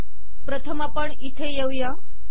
प्रथम आपण इथे येऊया